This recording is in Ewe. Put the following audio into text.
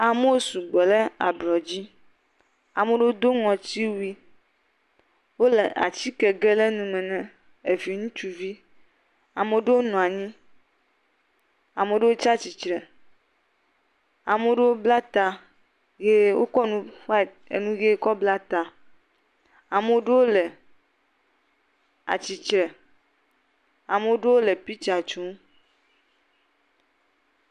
Amewo sugbɔ ɖe ablɔ dzi ame aɖewo do ŋɔtiwui kle atike gem ɖe nume eve ŋutsuvi, ame aɖewo nɔ anyi, ame aɖewo tsi atsitre ame aɖewo bla ta eye wokɔ enu white bla ta, ame aɖewo le atsi tre eye ame aɖewo le piktsa tsom.